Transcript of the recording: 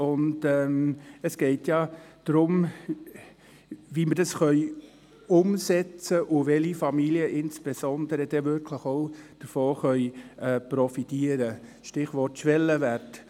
Es geht darum, wie es umgesetzt werden könnte und insbesondere darum, welche Familien wirklich davon profitieren könnten – Stichwort: Schwellenwert.